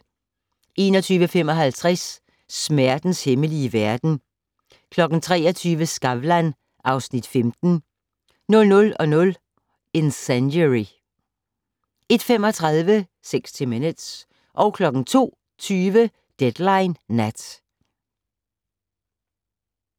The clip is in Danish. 21:55: Smertens hemmelige verden 23:00: Skavlan (Afs. 15) 00:00: Incendiary 01:35: 60 Minutes 02:20: Deadline Nat